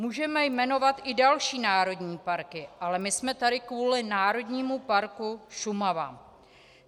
Můžeme jmenovat i další národní parky, ale my jsme tady kvůli Národnímu parku Šumava.